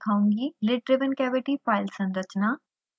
lid driven cavity file संरचना